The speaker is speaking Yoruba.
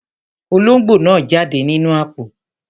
Olóngbò náà jáde nínú àpò.